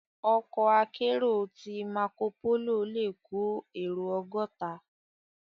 Òkò àkèéró ti màkópóló lé kó éró ògòtá